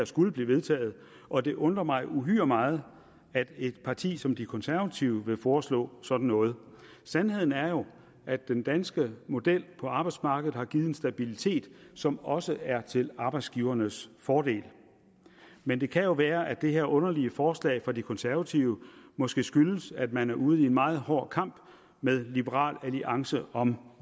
skulle blive vedtaget og det undrer mig uhyre meget at et parti som de konservative vil foreslå sådan noget sandheden er jo at den danske model på arbejdsmarkedet har givet en stabilitet som også er til arbejdsgivernes fordel men det kan jo være at det her underlige forslag fra de konservative måske skyldes at man er ude i en meget hård kamp med liberal alliance om